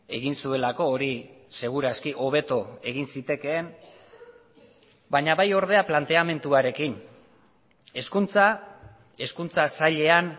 egin zuelako hori segur aski hobeto egin zitekeen baina bai ordea planteamenduarekin hezkuntza hezkuntza sailean